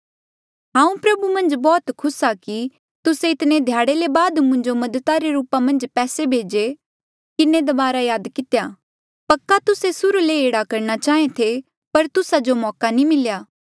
हांऊँ प्रभु मन्झ बौह्त खुस आ कि तुस्से इतने ध्याड़े ले बाद मुंजो मदद रे रूपा मन्झ पैसे भेजी किन्हें दबारा याद कितेया पक्का तुस्से सुर्हू ले ही एह्ड़ा करणा चांहे थे पर तुस्सा जो मौका नी मिल्या